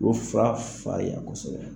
O fa farinya kosɛbɛ